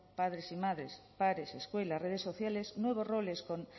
padres y madres padres escuelas redes sociales nuevos roles